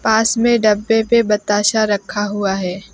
पास में डब्बे पे बताशा रखा हुआ है।